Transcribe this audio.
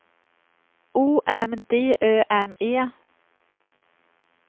O M D Ö M E